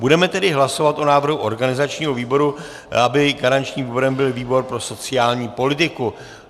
Budeme tedy hlasovat o návrhu organizačního výboru, aby garančním výborem byl výbor pro sociální politiku.